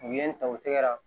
U ye n ta u tɛgɛra